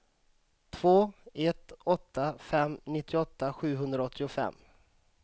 två ett åtta fem nittioåtta sjuhundraåttiofem